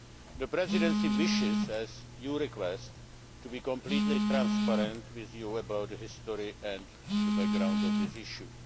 The Presidency wishes, as you request, to be completely transparent with you about the history of and the background on this issue.